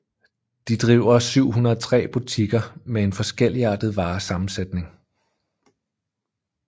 De driver 703 butikker med en forskelligartet varesammensætning